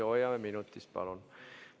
Palun hoiame minutist kinni.